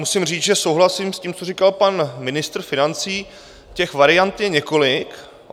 Musím říct, že souhlasím s tím, co říkal pan ministr financí, těch variant je několik.